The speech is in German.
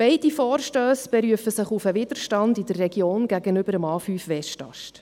Beide Vorstösse berufen sich auf den Widerstand in der Region gegen den A5-Westast.